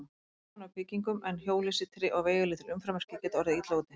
Lítið tjón á byggingum, en hjólhýsi, tré og veigalítil umferðarmerki geta orðið illa úti.